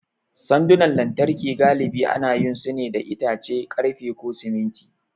Sandunan lantarki galibi ana yin su ne da itace, ƙarfe, ko siminti.